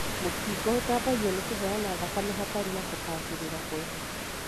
Mũkingo ũtambagio nĩ kũheana thakame hatarĩ na gũbacĩrĩra kwega.